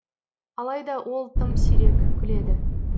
алайда ол тым сирек күледі